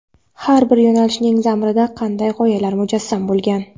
Har bir yo‘nalishning zamirida qanday g‘oyalar mujassam bo‘lgan?.